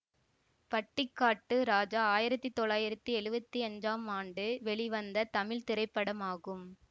பட்டிக்காட்டு ராஜா ஆயிரத்தி தொள்ளாயிரத்தி எழுவத்தி அஞ்சாம் ஆண்டு வெளிவந்த தமிழ் திரைப்படமாகும்